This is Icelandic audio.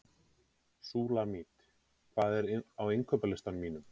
Súlamít, hvað er á innkaupalistanum mínum?